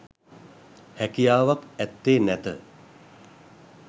හැකියාවක් ඇත්තේ නැත.